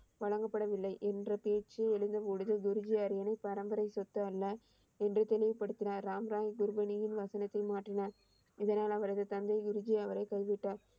வழங்கப்படவில்லை என்ற பேச்சு எழுந்த பொழுது குருஜி அரியணை பரம்பரை சொத்து அல்ல என்று தெளிவு படுத்தினார் ராம்ராய் குருபனியின் வசனத்தை மாற்றினார் இதனால் அவரது தந்தை குருஜி அவரை கைவிட்டார்.